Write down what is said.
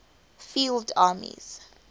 field armies